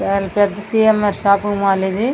చాల పెద్ద C. M. R shopping mall ఇది.